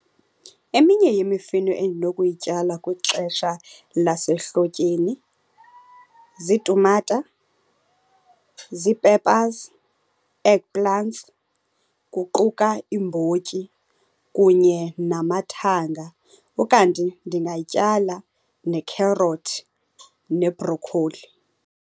Eminye yemifino endinokuyityala kwixesha lasehlotyeni ziitumata ziipepazi, eggplants, kuquka iimbotyi kunye namathanga. Ukanti ndingatyala nekherothi nebrokoli.